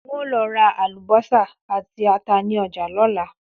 N óò lo̩ ra àlùbó̩sà àti ata ní o̩jà ló̩la